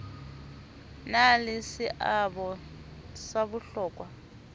na le seabo sa bohlokwa